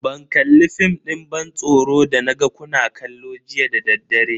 Ban kalli fim din ban tsoron da naga kuna kallo jiya dadaddare.